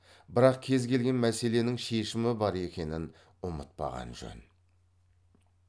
бірақ кез келген мәселенің шешімі бар екенін ұмытпаған жөн